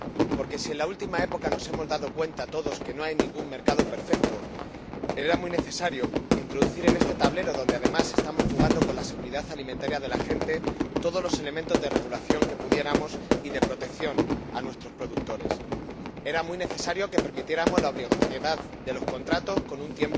Porque, pese a que en la última época nos hemos dado cuenta todos de que no hay ningún mercado perfecto, era muy necesario introducir en este tablero, donde además estamos jugando con la seguridad alimentaria de la gente, todos los elementos que pudiéramos de regulación y de protección a nuestros productores. Era muy necesario que permitiéramos la obligatoriedad de los contratos con un